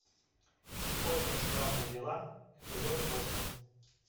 очень странные дела эпизод восемь